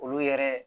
Olu yɛrɛ